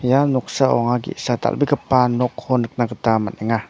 ia noksao anga ge·sa dal·gipa nokko nikna gita man·enga.